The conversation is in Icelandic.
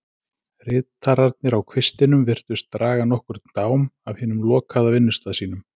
Ritararnir á kvistinum virtust draga nokkurn dám af hinum lokaða vinnustað sínum.